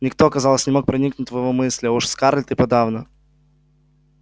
никто казалось не мог проникнуть в его мысли а уж скарлетт и подавно